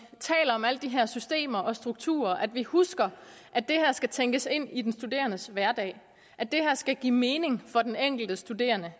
taler om alle de her systemer og strukturer at vi husker at det her skal tænkes ind i den studerendes hverdag at det her skal give mening for den enkelte studerende